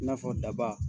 I n'a fɔ daba